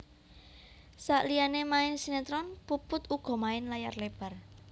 Saliyané main sinetron Puput uga main layar lebar